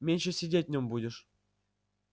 меньше сидеть в нем будешь